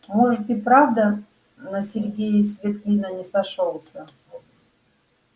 может и правда на сергее свет клином не сошёлся